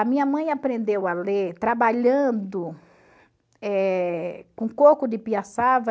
A minha mãe aprendeu a ler trabalhando eh com coco de piaçava.